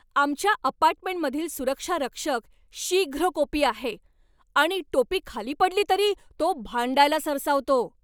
आमच्या अपार्टमेंटमधील सुरक्षारक्षक शीघ्रकोपी आहे आणि टोपी खाली पडली तरी तो भांडायला सरसावतो.